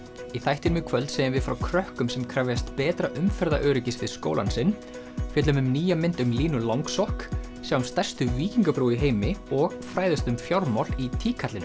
í þættinum í kvöld segjum við frá krökkum sem krefjast betra umferðaröryggis við skólann sinn fjöllum um nýja mynd um Línu langsokk sjáum stærstu víkingabrú í heimi og fræðumst um fjármál í